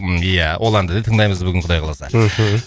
ия ол әнді де тыңдаймыз бүгін құдай қаласа мхм